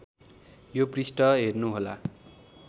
यो पृष्ठ हेर्नुहोला